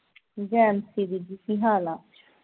ਜੈਨਸ਼ਿਰੀ ਜੀ ਕੀ ਹਾਲ ਆ